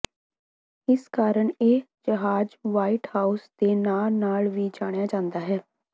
ਇਸ ਕਾਰਨ ਇਹ ਜਹਾਜ਼ ਵ੍ਹਾਈਟ ਹਾਊਸ ਦੇ ਨਾਂ ਨਾਲ ਵੀ ਜਾਣਿਆ ਜਾਂਦਾ ਹੈ